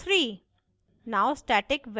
result is: 3